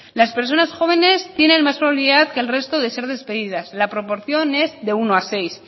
las personas jóvenes tienen más probabilidad que el resto de ser despedidas la proporción es de uno a seis